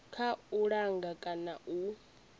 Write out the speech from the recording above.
kha u langa kana u